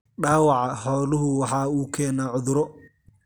Dhaawaca xooluhu waxa uu keenaa cuduro.